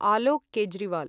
Alok Kejriwal